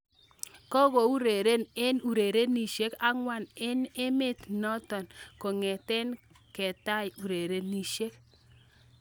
Kokeureren eng urerenisiek angwan eng emet ne to-ot kongete ketai urerenisiek.